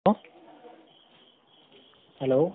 hello hello